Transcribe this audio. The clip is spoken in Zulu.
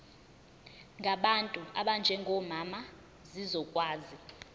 ngabantu abanjengomama zizokwazi